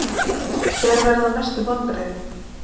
Hver verða mestu vonbrigðin?